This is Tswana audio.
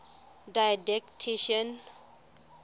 didactician